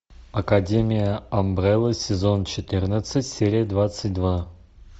академия амбрелла сезон четырнадцать серия двадцать два